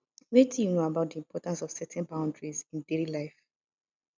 wetin you know about di importance of setting boundaries in daily life